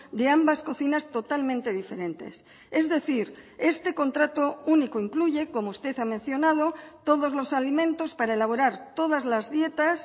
de ambas cocinas totalmente diferentes es decir este contrato único incluye como usted ha mencionado todos los alimentos para elaborar todas las dietas